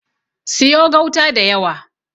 Siyo gauta da yawa.